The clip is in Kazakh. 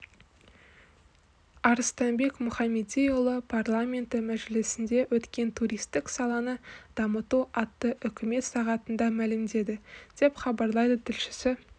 арыстанбек мұхамедиұлы парламенті мәжілісінде өткен туристік саланы дамыту атты үкімет сағатында мәлімдеді деп хабарлайды тілшісі